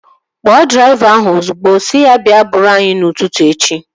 Kpọọ draiva ahụ ozigbo! Sị ya bịa buuru anyị n'ụtụtụ echi